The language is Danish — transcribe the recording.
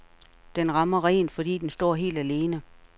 Den rammer rent, fordi den står helt alene.